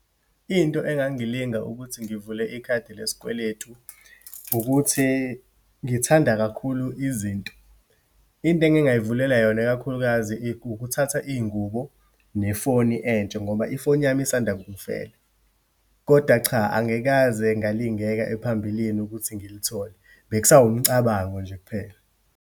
Into engangilinga ukuthi ngivule ikhadi lesikweletu ukuthi ngithanda kakhulu izinto. Into engingayivulela yona, ikakhulukazi ukuthatha iyingubo, nefoni entsha, ngoba ifoni yami isanda kungifela. Kodwa cha, angikaze ngalingeka ephambilini ukuthi ngilithole. Bekusawumcabango nje kuphela.